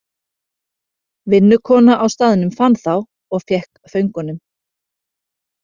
Vinnukona á staðnum fann þá og fékk föngunum.